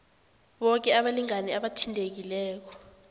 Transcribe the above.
boke abalingani abathintekileko